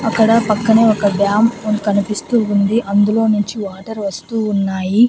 అక్కడ పక్కనే ఒక డ్యామ్ కనిపిస్తూ ఉంది అందులో నుంచి వాటర్ వస్తూ ఉన్నాయి.